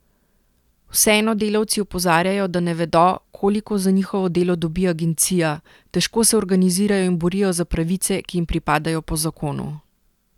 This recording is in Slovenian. Vseeno delavci opozarjajo, da ne vedo, koliko za njihovo delo dobi agencija, težko se organizirajo in borijo za pravice, ki jim pripadajo po zakonu.